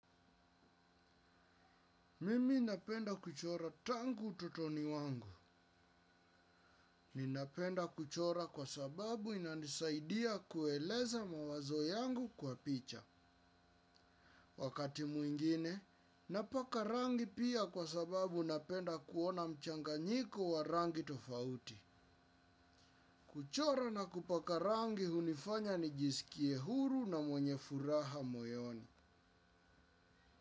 Mimi napenda kuchora tangu ututoni wangu. Ninapenda kuchora kwa sababu inanisaidia kueleza mawazo yangu kwa picha. Wakati mwingine, napaka rangi pia kwa sababu napenda kuona mchanganyiko wa rangi tofauti. Kuchora na kupaka rangi hunifanya nijisikie huru na mwenye furaha moyoni.